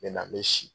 N bɛ na n bɛ si